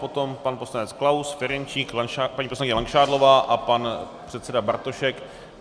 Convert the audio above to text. Potom pan poslanec Klaus, Ferjenčík, paní poslankyně Langšádlová a pan předseda Bartošek.